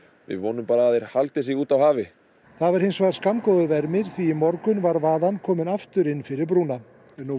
við vonum bara að þeir haldi sig úti á hafi það var hins vegar skammgóður vermir því í morgun var var vaðan komin aftur inn fyrir brúna nú